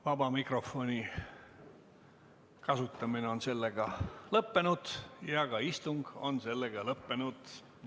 Vaba mikrofoni kasutamine on lõppenud ja istung on lõppenud.